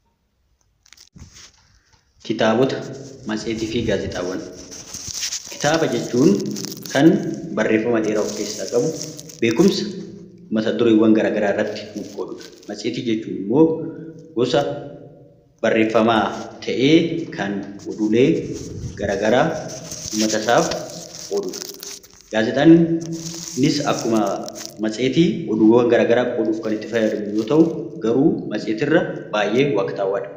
Kitaaba jechuun kan barreeffama dheeraa of keessaa qabu beekumsa mat-dureewwan garaagaraatidha. Matseetii jechuun gosa barreeffamaa ta'ee kan odeeffannoo garaagaraa uummata isaaf ooludha. Gaazexaan innis akkuma warra kaanii odeeffannoof nu fayyada.